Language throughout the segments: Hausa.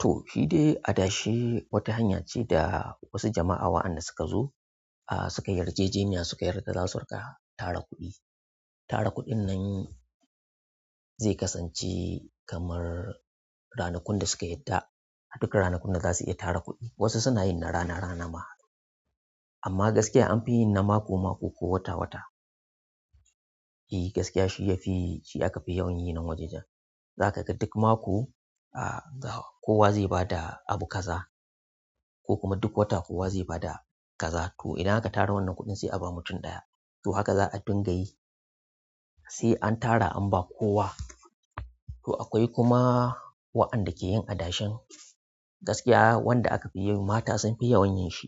To, shi dai adashe wata hanya ce da wasu jama'a wa'anda suka zo, ah suka yarjejeniya suka yarda za su riƙa tara kuɗi. Tara kuɗin nan zai kasance kamar ranakun da suka yadda. Duka ranakun da za su iya tara kuɗi. Wasu suna yin na rana rana ma amma gaskiya anfi yin na mako mako ko wata wata. E gaskiya shi ya fi shi aka fi yawan yin nan wajen nan. Za ka ga duk mako, ah kowa zai ba da abu kaza ko kuma duk wata kowa zai ba da kaza. To idan aka tara wannan kuɗin sai a ba mutum ɗaya. To haka za a dinga yi sai an tara an ba kowa. To akwai kuma wa'anda ke yin adashin. Gaskiya wanda aka fi yi mata sun fi yawan yin shi.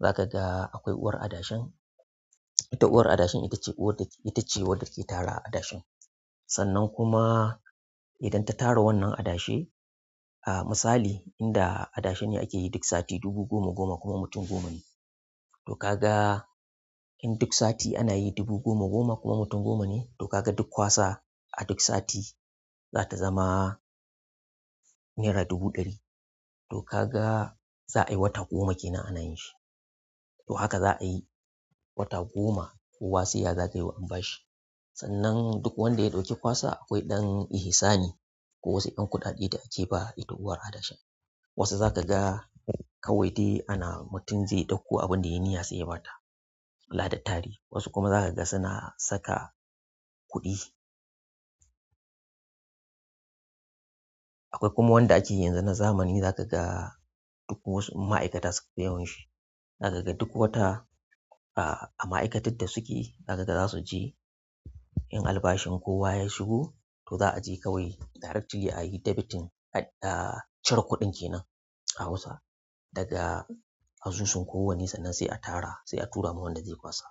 Za ka ga akwai uwar adashin. Ita uwar adashin ita ce uwar da ita ce uwar da ke tara adashin. Sannan kuma idan ta tara wannan adashe, ah misali inda adashin ne ake yi duk sati dubu goma goma kuma mutum goma ne. To ka ga in duk sati ana yi dubu goma goma kuma mutum goma ne, to ka ga duk kwasa a duk sati za ta zama naira dubu ɗari. To ka ga za a yi wata goma kenan ana yin shi. To haka za a yi wata goma kowa sai ya zagayo an ba shi. Sannan duk wanda ya ɗauki kwasa akwai ɗan ihisani ko wasu ƴan kuɗaɗe da ake ba itatuwar adashin. Wasu za ka ga kawai dai ana mutum zai ɗauko abin da ya yi niyya sai ya ba ta. Lahda tare wasu kuma za ka ga suna saka kuɗi. Akwai kuma wanda ake yi yanzu na zamani za ka ga duk wasu ma'aikata suka fi yawan shi. Za ka ga duk wata ah a ma'aikatun da suke za ka ga za su je in albashin kowa ya shigo to za a je kawai direct jiya a yi debiting ah cire kuɗin kenan a Hausa daga asusun kowanne sannan sai a tara sai a tura ma wanda zai kwasa.